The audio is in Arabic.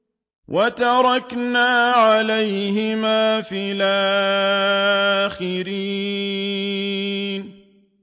وَتَرَكْنَا عَلَيْهِمَا فِي الْآخِرِينَ